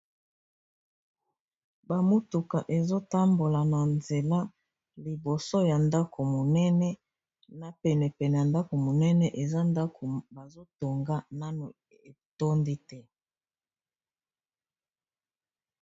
ba mutuka ezotambola na nzela liboso ya ndako monene na pene pene ya ndako monene eza ndako bazo tonga nano etondi te.